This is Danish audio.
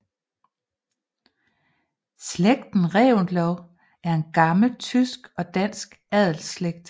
Slægten Reventlow er en gammel tysk og dansk adelsslægt